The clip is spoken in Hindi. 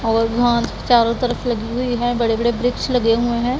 और वहां चारों तरफ लगी हुई हैं बड़े बड़े वृक्ष लगे हुए हैं।